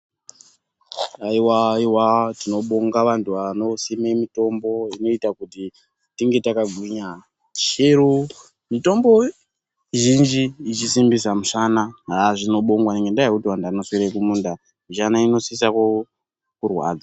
Haiwaiwa tinobonga vantu vanosime mitombo inoita kuti tinge takagwinya chero mitombo zhinji ichisimbisa musana haa zvinobongwa ngendaa yekuti vantu vanoswera kumunda mishana inosisa kurwadza.